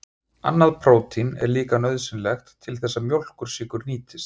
Annað prótín er líka nauðsynlegt til þess að mjólkursykur nýtist.